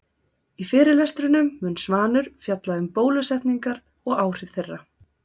Í fyrirlestrinum mun Svanur fjalla um um bólusetningar og áhrif þeirra.